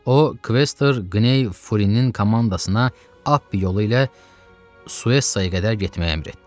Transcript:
O, Kvester Qney Furinin komandasına Appi yolu ilə Suesaya qədər getməyi əmr etdi.